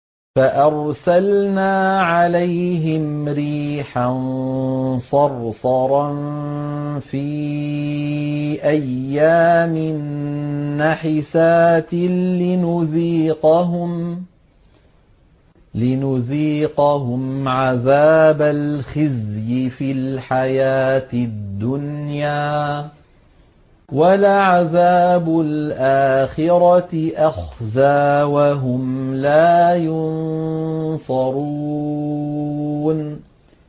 فَأَرْسَلْنَا عَلَيْهِمْ رِيحًا صَرْصَرًا فِي أَيَّامٍ نَّحِسَاتٍ لِّنُذِيقَهُمْ عَذَابَ الْخِزْيِ فِي الْحَيَاةِ الدُّنْيَا ۖ وَلَعَذَابُ الْآخِرَةِ أَخْزَىٰ ۖ وَهُمْ لَا يُنصَرُونَ